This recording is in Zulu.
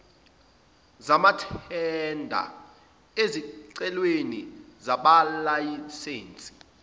zamathenda ezicelweni zamalayisense